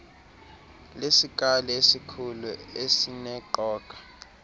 lesikali esikhulu esineqoga